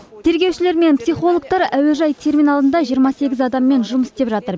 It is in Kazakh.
тергеушілер мен психологтар әуежай терминалында жиырма сегіз адаммен жұмыс істеп жатыр